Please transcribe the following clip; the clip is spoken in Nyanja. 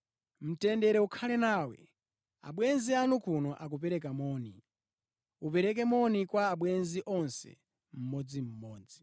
Mtendere ukhale nawe. Abwenzi anu kuno akupereka moni. Upereke moni kwa abwenzi onse mmodzimmodzi.